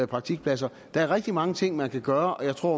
praktikpladser der er rigtig mange ting man kan gøre og jeg tror